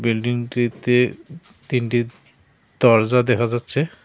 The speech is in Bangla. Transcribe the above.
বিল্ডিংটিতে তিনটি দরজা দেহা যাচ্ছে।